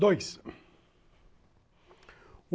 Dois.